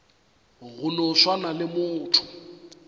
go no swana le motho